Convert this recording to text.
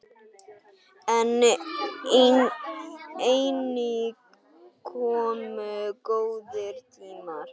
En einnig komu góðir tímar.